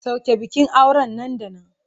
Soke bikin auren nan da nan!